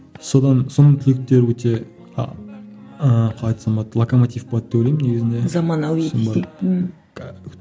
содан соның түлектері өте ыыы қалай айтсам болады локоматив болады деп ойлаймын негізінде заманауи десей